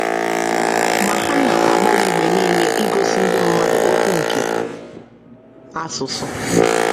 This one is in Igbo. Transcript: Ma ha na - agbalị mgbe nile igosi ndị mmadụ okwu nke asụsụ.